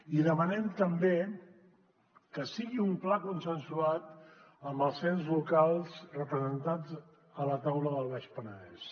i demanem també que sigui un pla consensuat amb els ens locals representats a la taula del baix penedès